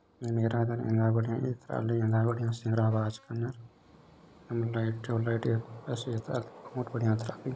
निम एरादान एंगा एथ्राली एन्दा बढ़िया श्रीन्ग्रा बाचकान एक थो लाइट पस्यता बहुत बढ़िया तराकीन |